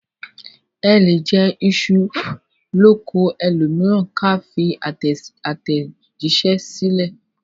A lè jẹ iṣu l'oko ẹlòmíràn ká fi àtẹ̀jíṣẹ́ sílẹ̀